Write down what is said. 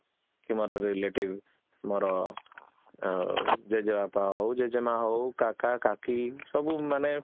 କି ମୋର relative, ମୋର ଅ ଜେଜେବାବା ହାଉ, ଜେଜେମା ହାଉ, ସବୁ ମାନେ